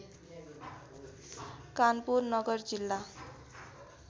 कानपुर नगर जिल्ला